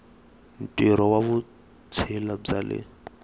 ntirho wa vutshila bya le